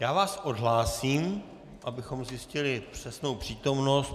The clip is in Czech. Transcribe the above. Já vás odhlásím, abychom zjistili přesnou přítomnost.